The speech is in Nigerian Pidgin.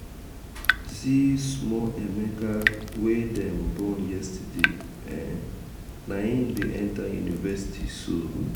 see small emeka wey dem born yesterday um naim dey enta university so! um